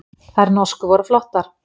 Þær norsku voru flottar.